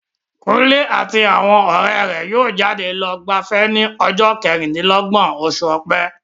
Kunle àti àwọn ọ̀rẹ́ rẹ̀ yóò jáde lọ gbafẹ́ ní ọjọ́ kẹrìndínlọ́gbọ̀n oṣù ọ̀pẹ.